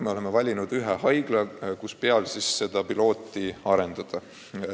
Me oleme valinud ühe haigla, kus seda pilootprojekti arendada.